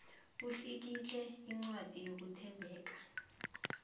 utlikitle incwadi yokuthembeka